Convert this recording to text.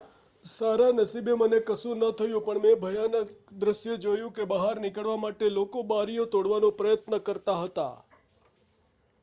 """સારા નસીબે મને કશું ન થયું પણ મેં ભયાનક દૃશ્ય જોયું કે બહાર નીકળવા માટે લોકો બારીઓ તોડવાનો પ્રયત્ન કરતા હતા.